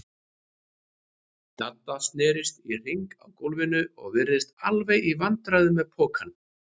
Dadda snerist í hringi á gólfinu og virtist alveg í vandræðum með pokann.